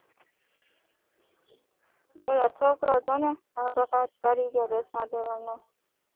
ઓલો છોકરો જોને આપઘાત કરી ગયો દસમાં ધોરણ નો